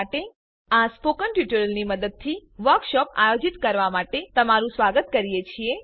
અમે આ સ્પોકન ટ્યુટોરિયલની મદદથી વર્કશોપ આયોજિત કરવા માટે તમારું સ્વાગત કરીએ છીએ